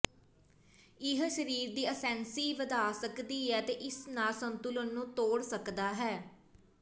ਇਹ ਸਰੀਰ ਦੀ ਅਸੈਂਸੀਸੀ ਵਧਾ ਸਕਦੀ ਹੈ ਅਤੇ ਇਸ ਨਾਲ ਸੰਤੁਲਨ ਨੂੰ ਤੋੜ ਸਕਦਾ ਹੈ